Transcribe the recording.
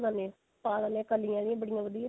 ਦਿੰਦੇ ਪਾ ਦਿੰਦੇ ਕਲੀਆਂ ਜੀਆਂ ਬੜੀਆਂ ਵਧੀਆ